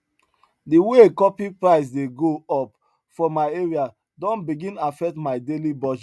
the way coffee price dey go up for my area don begin affect my daily budget